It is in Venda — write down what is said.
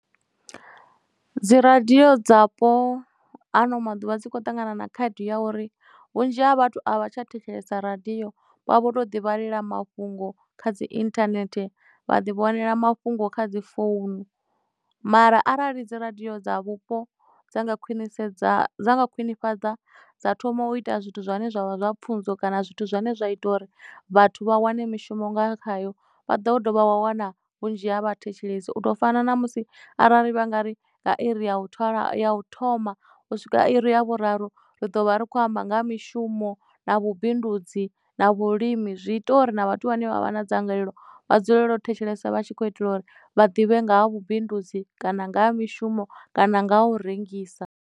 Dzi radio dzapo ano maḓuvha dzikho ṱangana na khaedu ya uri vhunzhi ha vhathu a vha tsha thetshelesa radio vha vha vho to ḓi vhalela mafhungo kha dzi internet vha ḓi vhonela mafhungo kha dzi founu. Mara arali dzi radio dza vhupo dza nga khwinisedza khwinifhadza dza thoma u ita zwithu zwine zwavha zwa pfunzo kana zwithu zwine zwa ita uri vhathu vha wane mishumo nga khayo vha ḓo dovha wa wana vhunzhi ha vha thetshelesi u to fana na musi arali vha nga ri nga iri ya vhu twalafu u thoma u swika iri ya vhuraru ri ḓo vha ri khou amba nga ha mishumo na vhubindudzi na vhulimi zwi ita uri na vhathu vhane vha vha na dzangalelo vha dzulele u thetshelesa vha tshi kho itelwa uri vha ḓivhe nga ha vhubindudzi kana nga ha mishumo kana nga u rengisa.